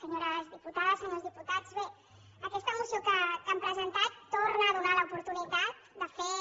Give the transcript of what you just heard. senyores diputades senyors diputats bé aquesta moció que han presentat torna a donar l’oportunitat de fer